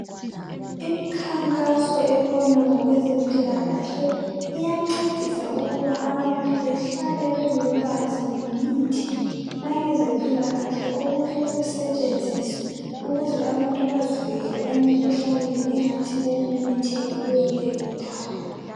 Imikhankaso ebona ngokwezempilakahle iyancedisa ukuba abantu behlale belolwazi ngemithi la ngezempilakahle okumele kusetshenziswe ukuze abantu bazivikele emikhuhlaneni engathi ukumemetheka kuyo leyondawo.